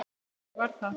En þannig varð það.